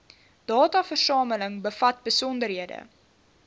dataversameling bevat besonderhede